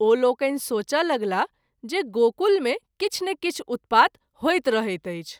ओ लोकनि सोचय लगलाह जे गोकुल मे किछु ने किछु उत्पात होइत रहैत अछि।